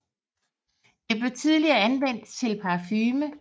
Det blev tidligere anvendt til parfume